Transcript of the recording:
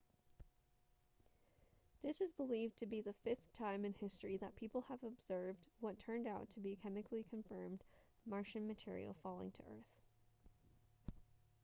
this is believed to be the fifth time in history that people have observed what turned out to be chemically confirmed martian material falling to earth